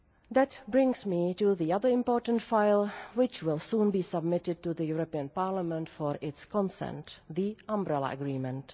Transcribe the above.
That brings me to the other important file which will soon be submitted to the European Parliament for its constant the Umbrella Agreement.